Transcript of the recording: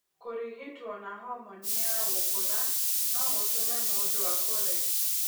Kũrigitwo na homoni ya gũkũra no gũtũme mũndũ akũre.